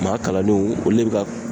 Maa kalannenw olu le bɛ ka